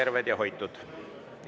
Olge terved ja hoitud!